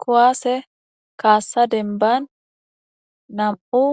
Kuwase kasa denban nam'u